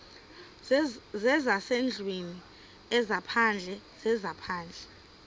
zezasendlwini ezaphandle zezaphandle